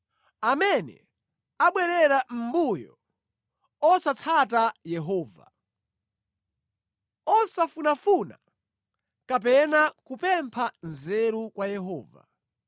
amene abwerera mʼmbuyo osatsata Yehova, osafunafuna kapena kupempha nzeru kwa Yehova.